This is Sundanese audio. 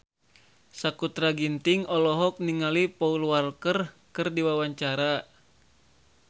Sakutra Ginting olohok ningali Paul Walker keur diwawancara